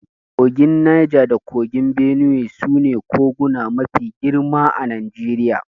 Kogin Naja da kogin Benuwe su ne koguna mafi girma a Najeriya.